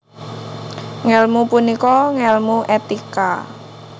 Ngèlmu punika ngèlmu etika